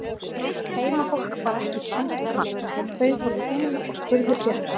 Heimafólk bar ekki kennsl á hann, bauð honum inn og spurði frétta.